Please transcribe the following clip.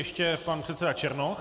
Ještě pan předseda Černoch.